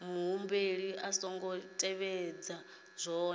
muhumbeli a songo tevhedza zwohe